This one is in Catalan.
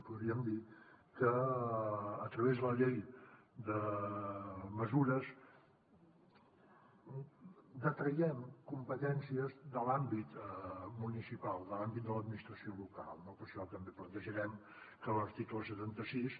podríem dir que a través de la llei de mesures detraiem competències de l’àmbit municipal de l’àmbit de l’administració local no per això també plantejarem que l’article setanta sis